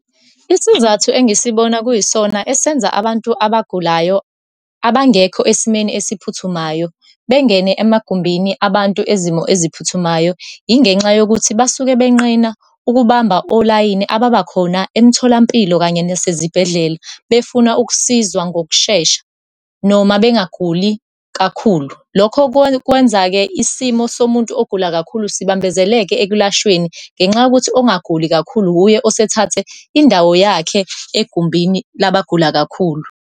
Isizathu engisibona kuyisona esenza abantu abagulayo abangekho esimweni esiphuthumayo, bengene emagumbini abantu ezimo eziphuthumayo, yingenxa yokuthi basuke benqena ukubamba olayini ababakhona emtholampilo, kanye nasezibhedlela, befuna ukusizwa ngokushesha, noma bengaguli kakhulu. Lokho kwenza-ke isimo somuntu ogula kakhulu sibambezeleka ekulashweni ngenxa yokuthi ongaguli kakhulu wuye osethathe indawo yakhe egumbini labagula kakhulu.